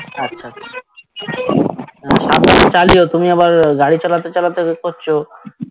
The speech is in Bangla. আচ্ছা আহ সাবধানে চালিও তুমি আবার আহ গাড়ি চালাতে চালাতে এ করছো